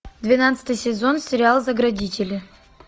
двенадцатый сезон сериал заградители